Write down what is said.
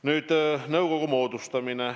Nüüd, nõukogu moodustamine.